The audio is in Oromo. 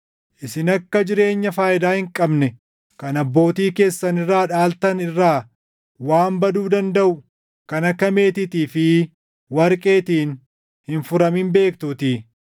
Isin akka jireenya faayidaa hin qabne kan abbootii keessan irraa dhaaltan irraa waan baduu dandaʼu kan akka meetiitii fi warqeetiin hin furamin beektuutii.